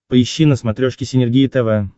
поищи на смотрешке синергия тв